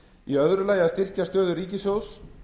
í öðru lagi að styrkja stöðu ríkissjóðs